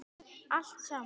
Allt saman.